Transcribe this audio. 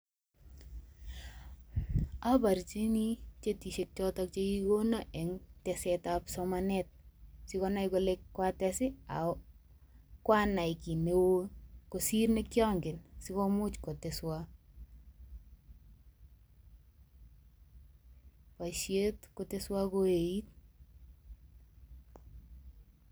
Aborchini chetishek chotok chekigigono eng tesetab somanet sikonai kole kwates, ago kwanai kiy neo kosir ne kiangen sikomuch koteswa boisiet koteswo koeit.